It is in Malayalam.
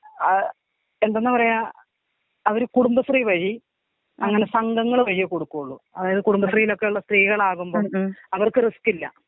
ആ എന്താണ് പറയാ അവര് കുടുംബശ്രീ വഴി അങ്ങനെ സംഘങ്ങള് വഴിയേ കൊടുക്കൊള്ളു. അതായത് കുടുംബശ്രീലൊക്കെള്ള സ്ത്രീകളാവുമ്പം. അവർക്ക് റിസ്കില്ല.